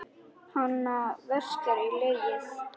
Hana verkjar í legið.